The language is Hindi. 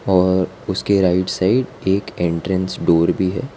और उसके राइट साइड एक एंट्रेंस डोर भी है।